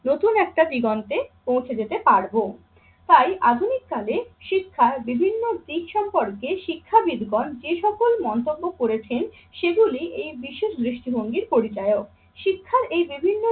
নতুন একটা দিগন্তে পৌঁছে যেতে পারবো। তাই আধুনিককালে শিক্ষার বিভিন্ন দিক সম্পর্কে শিক্ষাবিদগণ যে সকল মন্তব্য করেছেন সেগুলি এই বিশেষ দৃষ্টিভঙ্গির পরিচায়ক। শিক্ষার এই বিভিন্ন